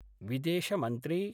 विदेशमन्त्री